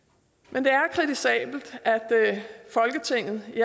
men det er kritisabelt at folketinget i